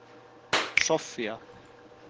Soffía